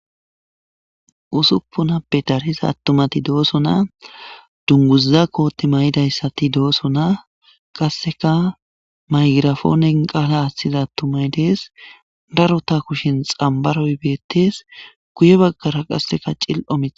Usuppunappe darsiza attumati dooso na dunguza koote may'dayssati dooso na qasseka maygirafoonen qaala ashthiza attumay dees darota kushin xambaroy beettes guye baggara qasseka cil'o mie.